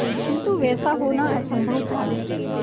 किंतु वैसा होना असंभव था